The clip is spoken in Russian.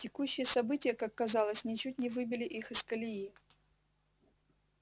текущие события как казалось ничуть не выбили их из колеи